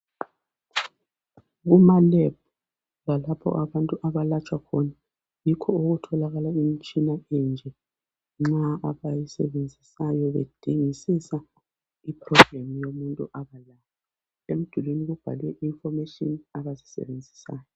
Kuma lebhu lalapho abantu abalatshwa khona yikho okutholakala imitshina enje nxa abayisebenzisayo bedingisisa iproblem yomuntu emdulini kubhalwe information abayisebenzisayo.